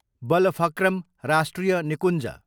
बलफक्रम राष्ट्रिय निकुञ्ज